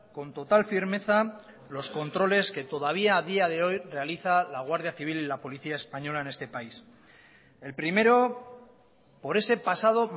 con total firmeza los controles que todavía a día de hoy realiza la guardia civil y la policía española en este país el primero por ese pasado